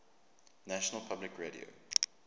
national public radio